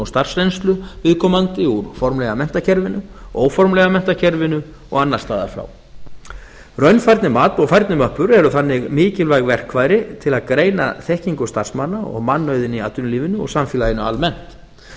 starfsreynslu viðkomandi úr formlega menntakerfinu óformlega menntakerfinu og annar staðar frá raunfærnimat og færnimöppur eru þannig mikilvæg verkfæri til að greina þekkingu starfsmanna og mannauðinn í atvinnulífinu og samfélaginu almennt